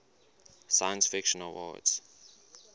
science fiction awards